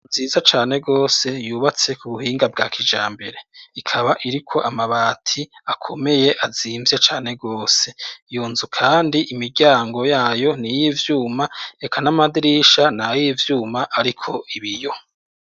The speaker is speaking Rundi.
Nziza cane rwose yubatse ku buhinga bwa kijambere, ikaba iriko amabati akomeye azimvye cane rwose, iyo nzu kandi imiryango yayo ni iy'ivyuma eka n'amadirisha ni ay'ivyuma ariko ibiyo.